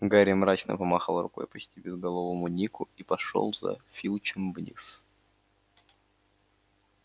гарри мрачно помахал рукой почти безголовому нику и пошёл за филчем вниз